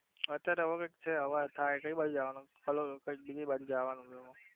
અત્યરે હવે કંઈક છે કઈ બાજુ જવનું બીજી બાજુ જવનું એવું